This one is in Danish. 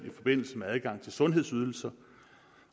i forbindelse med adgang til sundhedsydelser